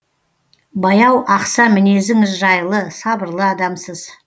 баяу ақса мінезіңіз жайлы сабырлы адамсыз